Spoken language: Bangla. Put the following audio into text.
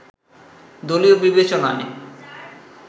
দলীয় বিবেচনায়